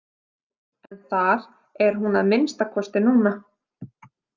En þar er hún að minnsta kosti núna.